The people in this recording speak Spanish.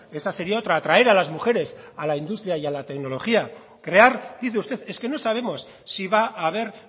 esa sería otra atraer a las mujeres a la industria y a la tecnología crear dice usted es que no sabemos si va haber